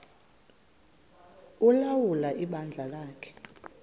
ulawula ibandla lakhe